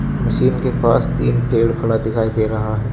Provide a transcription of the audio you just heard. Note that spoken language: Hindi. मशीन के पास तीन पेड़ खड़ा दिखाई दे रहा है.